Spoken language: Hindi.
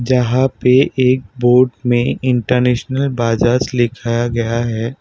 जहां पे एक बोर्ड में इंटरनेशनल बजाज लिखा गया है।